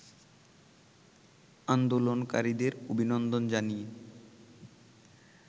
আন্দোলনকারীদের অভিনন্দন জানিয়ে